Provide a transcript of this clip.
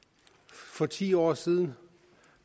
for ti år siden